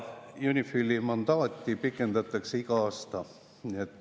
UNIFIL-i mandaati pikendatakse iga aasta.